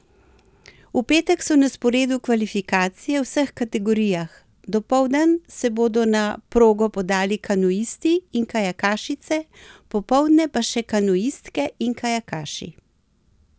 V petek so na sporedu kvalifikacije v vseh kategorijah, dopoldan se bodo na progo podali kanuisti in kajakašice, popoldne pa še kanuistke in kajakaši.